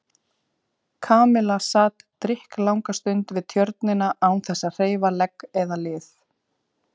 Kamilla sat drykklanga stund við Tjörnina án þess að hreyfa legg eða lið.